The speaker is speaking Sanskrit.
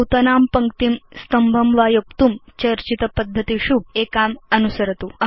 नूतनां पङ्क्तिं स्तम्भं वा योक्तुं चर्चितपद्धतिषु एकाम् अनुसरतु